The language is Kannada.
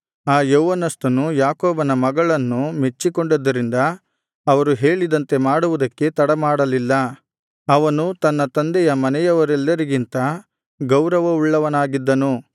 ಆ ಯೌವನಸ್ಥನು ಯಾಕೋಬನ ಮಗಳನ್ನು ಮೆಚ್ಚಿಕೊಂಡಿದ್ದರಿಂದ ಅವರು ಹೇಳಿದಂತೆ ಮಾಡುವುದಕ್ಕೆ ತಡಮಾಡಲಿಲ್ಲ ಅವನು ತನ್ನ ತಂದೆಯ ಮನೆಯವರೆಲ್ಲರಿಗಿಂತ ಗೌರವವುಳ್ಳವನಾಗಿದ್ದನು